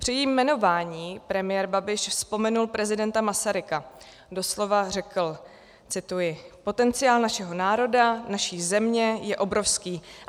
Při jejím jmenování premiér Babiš vzpomenul prezidenta Masaryka, doslova řekl, cituji: "Potenciál našeho národa, naší země je obrovský.